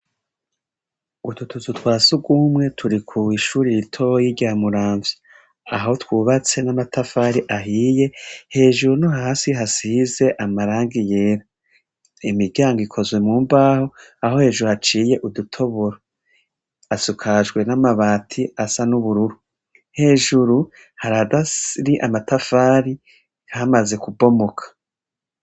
Ututuzu twa si ugumwe turi kuishuriraitoyi iryamuramvya aho twubatse n'amatafari ahiye hejuru no hasi hasize amaranga yera imiryango ikozwe mu mbaho aho hejuru haciye udutoburo asukajwe n'amabati asa n'ubururu hejuru haradasiri amatafari kamaze kubomoka.